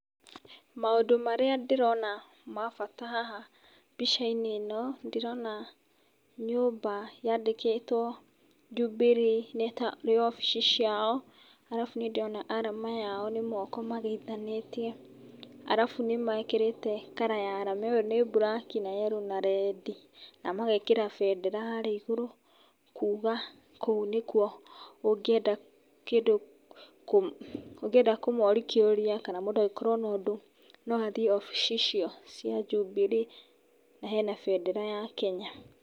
Maũndũ marĩ ndĩrona mabata haha mbica-inĩ ĩno, ndĩrona nyũmba yandĩkĩtwo Jubilee nĩ tarĩ obici ciao, arabu nĩ ndĩrona arama yao nĩ moko mageithanĩtie, arabu nĩ mekĩrĩte colour ya arama ĩyo nĩ mburaki na yellow na rendi, na magekĩra bendera harĩa igũrũ kuuga kũu nĩ kuo ũngĩenda kĩndũ, ũngĩenda kũmoria kĩũria kana mũndũ angĩkorwo na ũndũ no athiĩ obici icio cia Jubilee, na hena bendera ya Kenya.